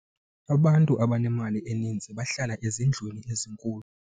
abantu abanemali eninzi bahlala ezindlwini ezinkulu